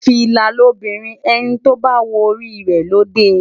Fìlà lobìnrin, ẹni tó bá wọ orí rẹ̀ ló ń dé e.